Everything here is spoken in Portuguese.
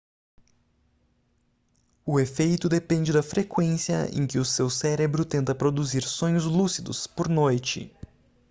o efeito depende da frequência em que o seu cérebro tenta produzir sonhos lúcidos por noite